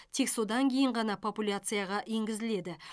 тек содан кейін ғана популяцияға енгізіледі